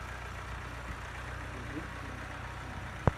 у тебя есть фильм наследники